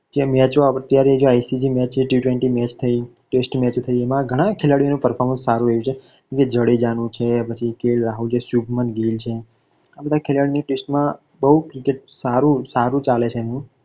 કે અત્યારે જે આઇસીસી ન T twenty match ઓ થઈ, test match થઈ આમાં ઘણા ખેલાડીઓ ના performance સારું રહ્યું છે જેમ કે જાડેજા નું છે પછી કે. એલ. રાહુલ છે પાછું શુભમાન ગીલ છે આ બધા ખલાડીઓ ની test માં cricket માં સારી ચાલે છે.